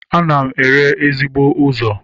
Ana m ere ezigbo ụzọ.